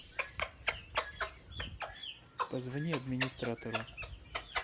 позвони администратору